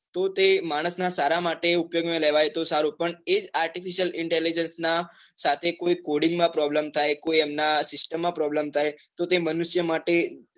તો તે માણસ ના સારા માટે ઉપયોગ માં લેવાય તો સારું પણ એ જ artificial intelligence ના સાથે કોઈ coding માં problem થાય, કોઈ એમના system માં problem થાય તો તે મનુષ્ય માટે